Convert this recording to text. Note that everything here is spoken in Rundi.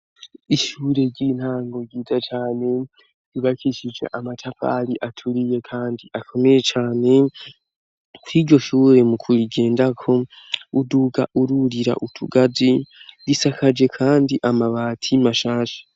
Ishure ry'intango ryiza cane, ryubakishije amatafari aturiye kandi akomeye cane, iryo shure mu kurigendako, uduga ururira utugazi, risakaje kandi amabati mashasha.